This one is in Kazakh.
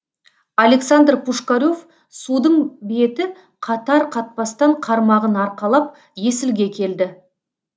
александр пушкарев судың беті қатар қатпастан қармағын арқалап есілге келді